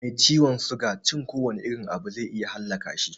Ga mai ciwon suga, cikin kowane irin abu zai iya halaka shi